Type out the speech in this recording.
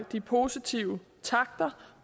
de positive takter